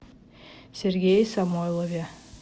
сергее самойлове